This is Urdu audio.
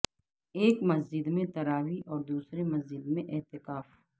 ایک مسجد میں تراویح اور دوسری مسجد میں اعتکاف